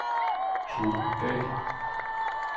Tove Dahl